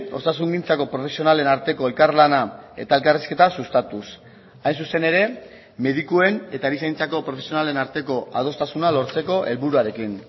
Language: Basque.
osasungintzako profesionalen arteko elkarlana eta elkarrizketa sustatuz hain zuzen ere medikuen eta erizaintzako profesionalen arteko adostasuna lortzeko helburuarekin